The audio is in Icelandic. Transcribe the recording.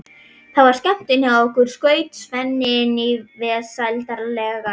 Það var skemmtun hjá okkur, skaut Svenni inn í vesældarlega.